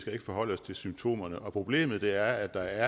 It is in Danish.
skal ikke forholde os til symptomerne og problemet er at der